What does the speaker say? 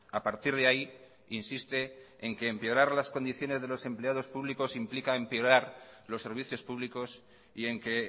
a partir de ahí insiste en que empeorar las condiciones de los empleados públicos implica empeorar los servicios públicos y en que